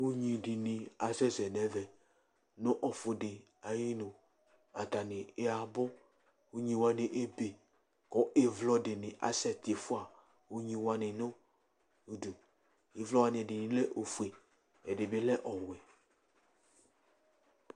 ugni dini asɛsɛ nu ɛvɛ, nu ɔfi di ayu inu, ata ni abu, ugni wʋani ebe ku ivlɔ dini asɛ tifʋa ugni wʋani nu udu, ivlɔ wʋani ɛdini lɛ ofue, ɛdini lɛ ɔwɛ